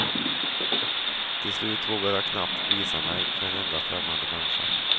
Till slut vågade jag knappt visa mig för en enda främmande människa.